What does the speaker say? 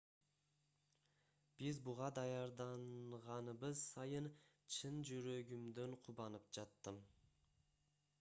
биз буга даярданганыбыз сайын чын жүрөгүмдөн кубанып жаттым